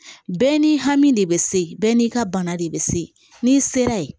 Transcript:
Bɛɛ n'i hami de bɛ se bɛɛ n'i ka bana de bɛ se n'i sera ye